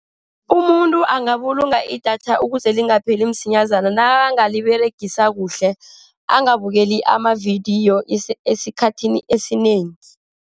Umuntu angabulunga idatha ukuze lingapheli msinyazana. Nakangaliberegisa kuhle, angabukeli amavidiyo esikhathini esinengi.